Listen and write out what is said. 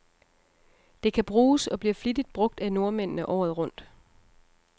Det kan bruges, og bliver flittigt brug af nordmændene, året rundt.